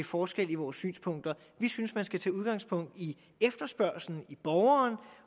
forskel i vores synspunkter vi synes man skal tage udgangspunkt i efterspørgslen i borgeren